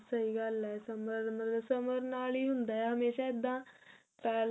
ਸਹੀ ਗੱਲ ਹੈ ਸਬਰ ਸਬਰ ਨਾਲ ਹੀ ਹੁੰਦਾ ਹਮੇਸ਼ਾ ਇੱਦਾਂ ਪਹਿਲਾਂ